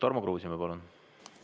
Tarmo Kruusimäe, palun!